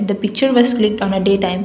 the picture was clicked on a day time.